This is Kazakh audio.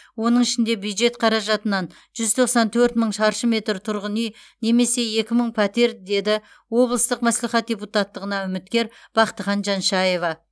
оның ішінде бюджет қаражатынан жүз тоқсан төрт мың шаршы метр тұрғын үй немесе екі мың пәтер деді облыстық мәслихат депутаттығына үміткер бақтыхан жаншаева